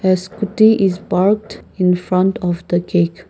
scooty is parked infront of the cake.